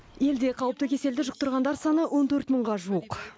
елде қауіпті кеселді жұқтырғандар саны он төрт мыңға жуық